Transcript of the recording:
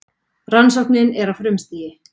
Rannsóknin er á frumstigi.